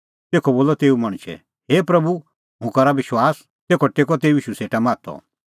तेखअ बोलअ तेऊ मणछै हे प्रभू हुंह करा विश्वास तेखअ टेक्कअ तेऊ ईशू सेटा माथअ